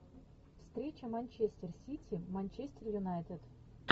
встреча манчестер сити манчестер юнайтед